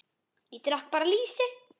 Ég drekk bara lýsi!